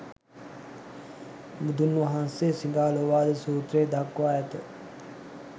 බුදුන් වහන්සේ සිඟාලෝවාද සූත්‍රයෙහි දක්වා ඇත.